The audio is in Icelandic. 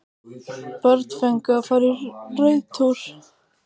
Börn fengu að fara í reiðtúr